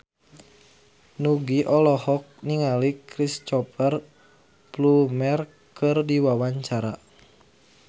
Nugie olohok ningali Cristhoper Plumer keur diwawancara